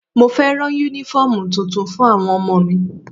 Mo fẹ́ rán Únífọ́ọ̀mù tuntun fún àwọn ọmọ mi